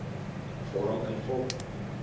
vorm invul